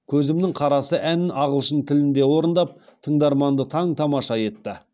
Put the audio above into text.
көзімнің қарасы әнін ағылшын тілінде орындап тыңдарманды таң тамаша етті